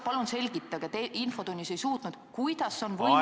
Palun selgitage – te infotunnis ei suutnud seda –, kuidas on võimalik ...